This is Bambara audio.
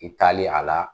I taalen a la